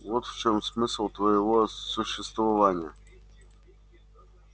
вот в чем смысл твоего существования